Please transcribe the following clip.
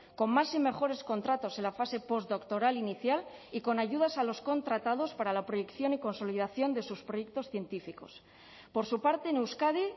con más y mejores contratos en la fase postdoctoral inicial y con ayudas a los contratados para la proyección y consolidación de sus proyectos científicos por su parte en euskadi